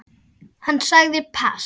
Hann sagði pass.